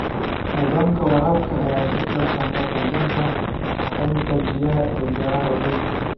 Nidaamka waraabka ayaa ka qaybqaata kordhinta sahayda biyaha ee beeraha waaweyn.